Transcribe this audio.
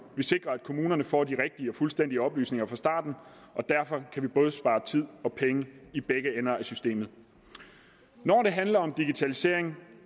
vi sikrer at kommunerne får de rigtige og fuldstændig oplysninger fra starten og derfor kan vi både spare tid og penge i begge ender i systemet når det handler om digitalisering